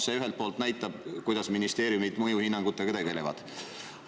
See ühelt poolt näitab, kuidas ministeeriumid mõjuhinnangutega tegelevad.